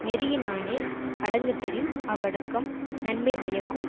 நெறியினானே அடங்கப்பெறின் அவ்வடக்கம் நன்மை பயக்கும்